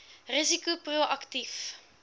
risiko pro aktief